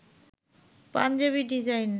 Punjabi design